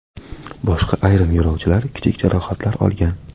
Boshqa ayrim yo‘lovchilar kichik jarohatlar olgan.